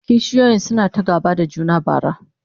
kishiyoyin suna ta gaba da juna bara